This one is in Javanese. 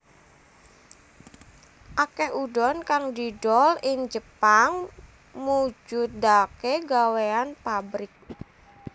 Akeh udon kang didol ing Jepang mujudake gawéyan pabrik